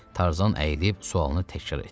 Tarzan əyilib sualını təkrar etdi.